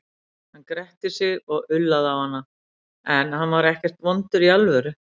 Hann gretti sig og ullaði á hana, en hann var ekkert vondur í alvöru.